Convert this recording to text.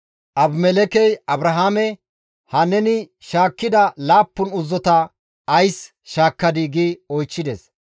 Abimelekkey Abrahaame, «Ha neni shaakkida laappun uzzota ays shaakkadii?» gi oychchides.